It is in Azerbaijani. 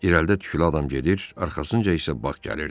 İrəlidə tüklü adam gedir, arxasınca isə bağ gəlirdi.